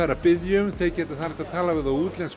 eru að biðja um það er hægt að tala við þá útlenskt